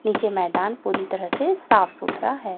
नीचे मैदान पूरी तरह से साफ सुथरा है।